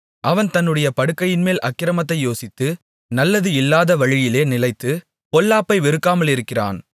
அவன் தன்னுடைய படுக்கையின்மேல் அக்கிரமத்தை யோசித்து நல்லது இல்லாத வழியிலே நிலைத்து பொல்லாப்பை வெறுக்காமலிருக்கிறான்